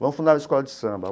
Vamos fundar uma escola de samba.